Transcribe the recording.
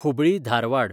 Hubli Dharwad